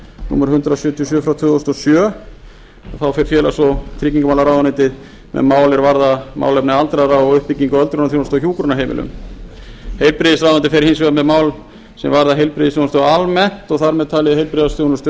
númer hundrað sjötíu og sjö tvö þúsund og sjö þá fer félags og tryggingamálaráðuneytið með mál er varða málefni aldraðra og uppbyggingu á öldrunarþjónustu á hjúkrunarheimilum heilbrigðisráðuneytið fer hins vegar með mál sem varða heilbrigðisþjónustu almennt og þar með talið heilbrigðisþjónustu